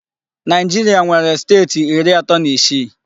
Naijiria nwere steeti iri ato na isii